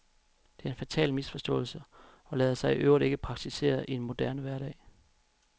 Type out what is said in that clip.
Det er en fatal misforståelse og lader sig i øvrigt ikke praktisere i en moderne hverdag.